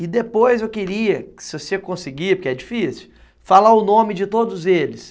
E depois eu queria, se você conseguir, porque é difícil, falar o nome de todos eles.